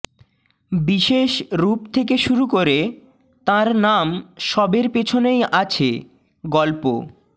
বিশেষ রূপ থেকে শুরু করে তাঁর নাম সবের পেছনেই আছে গল্প